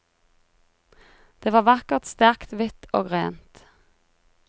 Det var vakkert, sterkt, hvitt og rent.